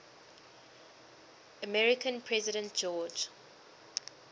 american president george